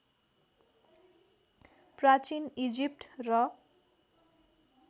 प्राचीन इजिप्ट र